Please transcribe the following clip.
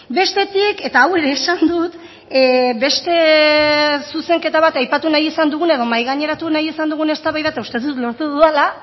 bestetik eta hau ere esan dut beste zuzenketa bat aipatu nahi izan duguna edo mahai gaineratu nahi izan dugun eztabaida eta uste dut lortu dudala